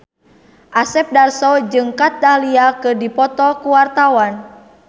Asep Darso jeung Kat Dahlia keur dipoto ku wartawan